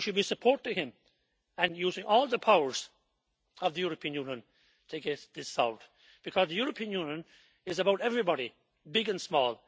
we should be supporting him and using all the powers of the European Union to get this solved, because the European Union is about everybody, big and small.